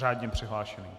Řádně přihlášený.